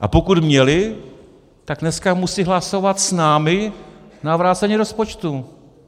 A pokud měli, tak dneska musí hlasovat s námi na vrácení rozpočtu.